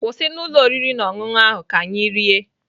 Kwụsị na ụlọ oriri na ọṅụṅụ ahụ ka anyị rie!